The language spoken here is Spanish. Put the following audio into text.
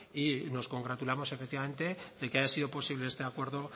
y nos congratulamos efectivamente de que haya sido posible este acuerdo